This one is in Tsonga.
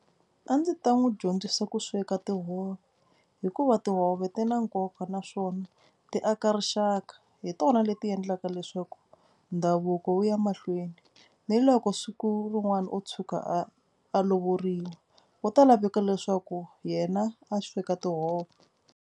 A ndzi ta n'wi dyondzisa ku sweka tihove hikuva tihove ti na nkoka naswona ti aka rixaka. Hi tona leti endlaka leswaku ndhavuko wu ya mahlweni ni loko siku rin'wana o tshuka a a lovoriwa wu ta laveka leswaku yena a sweka tihove.